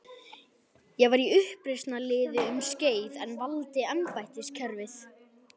Ég var í uppreisnarliði um skeið en valdi embættiskerfið.